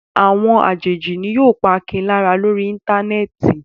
Àwọn àjèjì ni yóò pa Akin lára lórí Íńtánẹ́ẹ̀tì.